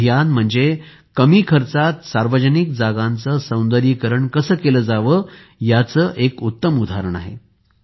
हे अभियान म्हणजे कमी खर्चात सार्वजनिक जागांचे सौंदर्यीकरण कसे केले जावे याचे एक उत्तम उदाहरण आहे